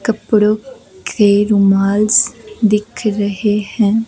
कपड़ों के रुमाल्स दिख रहे हैं।